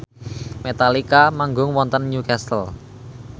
Metallica manggung wonten Newcastle